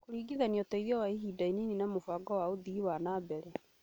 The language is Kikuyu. kũringithania ũteithio wa ihinda inini na mũbango wa ũthii wa na mbere